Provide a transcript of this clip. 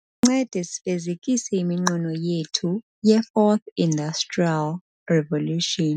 ncede sifezekise iminqweno yethu yeFourth Industrial Revolution .